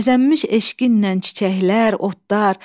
Bəzənmiş eşqinlə çiçəklər, otlar,